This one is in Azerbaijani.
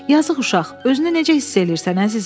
Yazıq uşaq, özünü necə hiss eləyirsən əzizim?